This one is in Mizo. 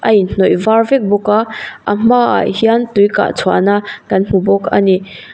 a inhnawih var vek bawk a a hmaah hian tui kah chhuahna kan hmu bawk ani.